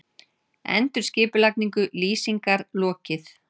Endurskipulagningu Lýsingar lokið